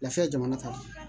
Lafiya jamana kanu